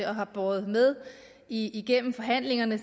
har båret med igennem forhandlingerne i